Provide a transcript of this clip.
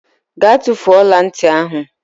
Gaa tufuo ọla ntị ahụ!